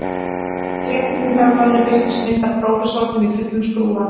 Með fréttinni í dagblaðinu birtist mynd af prófessornum í fullum skrúða